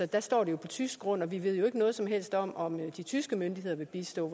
der står de på tysk grund og vi ved jo ikke noget som helst om om de tyske myndigheder vil bistå